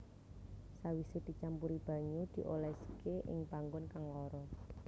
Sawise dicampuri banyu dioleske ing panggon kang lara